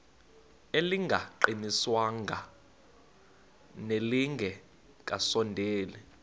elingaqingqwanga nelinge kasondeli